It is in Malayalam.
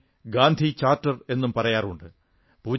ഇതിനെ ഗാന്ധി ചാർട്ടർ എന്നും പറയാറുണ്ട്